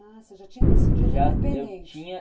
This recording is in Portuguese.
Ah, você já tinha decidido